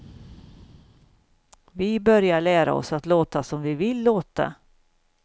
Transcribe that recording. Vi börjar lära oss att låta som vi vill låta.